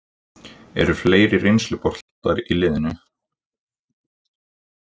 Eru fleiri reynsluboltar í liðinu?